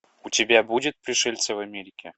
у тебя будет пришельцы в америке